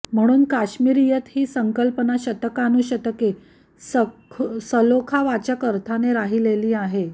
म्हणून कश्मीरियत ही संकल्पना शतकानुशतके सलोखावाचक अर्थाने राहिलेली आहे